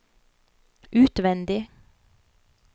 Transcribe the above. utvendig